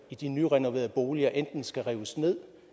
de nyrenoverede boliger enten skal rives ned